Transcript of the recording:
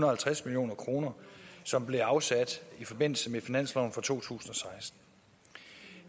og halvtreds million kr som bliver afsat i forbindelse med finansloven for to tusind og seksten